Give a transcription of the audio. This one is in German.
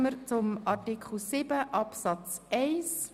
Wir kommen zu Artikel 7 Absatz 1.